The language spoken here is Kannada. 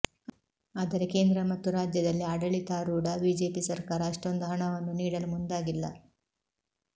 ಆದರೆ ಕೇಂದ್ರ ಮತ್ತು ರಾಜ್ಯದಲ್ಲಿ ಆಡಳಿತಾರೂಢ ಬಿಜೆಪಿ ಸರ್ಕಾರ ಅಷ್ಟೊಂದು ಹಣವನ್ನು ನೀಡಲು ಮುಂದಾಗಿಲ್ಲ